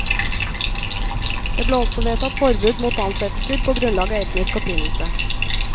Det ble også vedtatt forbud mot ansettelser på grunnlag av etnisk opprinnelse.